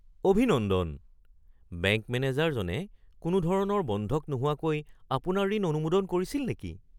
অভিনন্দন! বেংক মেনেজাৰজনে কোনোধৰণৰ বন্ধক নোহোৱাকৈ আপোনাৰ ঋণ অনুমোদন কৰিছিল নেকি?